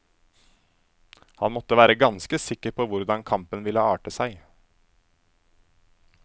Han måtte være ganske sikker på hvordan kampen ville arte seg.